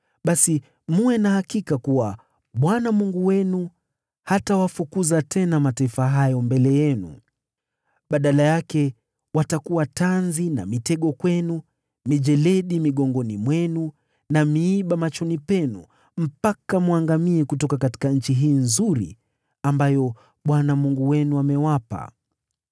basi mwe na hakika kuwa Bwana Mungu wenu hatawafukuza tena mataifa hayo mbele yenu. Badala yake, watakuwa tanzi na mitego kwenu, mijeledi migongoni mwenu, na miiba machoni mwenu, mpaka mwangamie kutoka nchi hii nzuri, ambayo Bwana Mungu wenu amewapa.